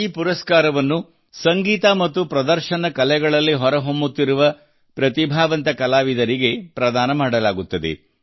ಈ ಪುರಸ್ಕಾರವನ್ನು ಸಂಗೀತ ಮತ್ತು ಪ್ರದರ್ಶನ ಕಲೆಗಳಲ್ಲಿ ಹೊರಹೊಮ್ಮುತ್ತಿರುವ ಪ್ರತಿಭಾವಂತ ಕಲಾವಿದರಿಗೆ ಪ್ರದಾನ ಮಾಡಲಾಗುತ್ತದೆ